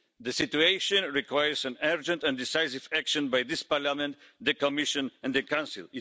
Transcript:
The situation requires urgent and decisive action by this Parliament, the Commission and the Council.